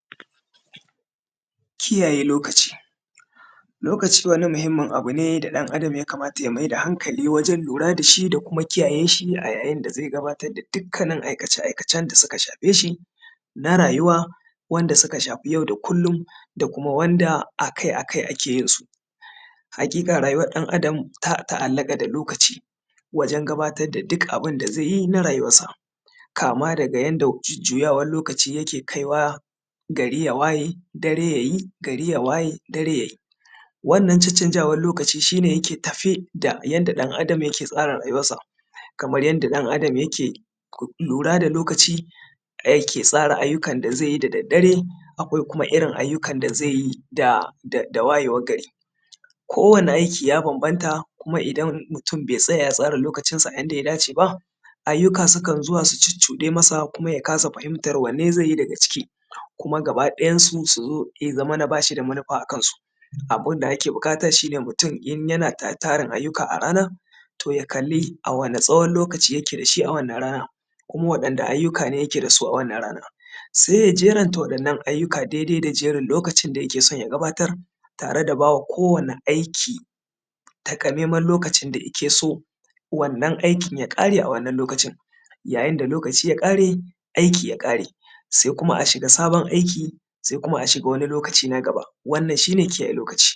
kiyaye lokaci lokaci wani muhimmin abu ne da ɗan adam ya kamata ya maida hankali wajen lura dashi da kuma kiyaye shi yayin da zai gabatar da dukkanin aikace-aikacen da suka shafe shin a rayuwa wanda suka shafi yau da kullum da kuma wanda akai-akai ake yin su haƙiƙa rayuwar ɗan adam ta ta’allaƙa da lokaci wajen gabatar da duk abun da zai yin a rayuwar sa kama daga yanda jujjuyawar lokaci yake kaiwa gari ya waye dare yayi gari ya waye dare yayi wannan cancanzawa lokaci shi ne yake tafe da yanda ɗan adam yake tsara rayuwarsa kamar yanda ɗan adam yake lura da lokaci yake tsara ayyukan da zai yi da daddare akwai kuma irin ayyukan da zai yi da wayewar gari kowani aiki ya banbanta kuma idan mutum bai tsaya ya tsara lokacin sa yanda ya dace ba ayyuka sukan zuwa su cuccuɗe masa kuma ya kasa fahimtar wanne zai yi daga ciki kuma gaba ɗayan su suzo ya zamana bashi da manufa akan su abun da ake buƙata shi ne mutum in yana da tarin ayyuka a ranan to ya kalli a wani tsawon lokaci yake dashi a wannan rana kuma waɗanne ayyuka ne yake dasu a wannan rana sai ya jeran ta wannan ayyuka daidai da jeren lokacin da yake son ya gabatar tare da bawa kowani aiki taƙamaiman lokacin da yake so wannan aikin ya ƙare a wannan lokacin yayin da lokaci ya ƙare aiki ya ƙare sai kuma a shiga sabon aiki sai kuma a shiga wani lokaci na gaba wannan shi ne kiyaye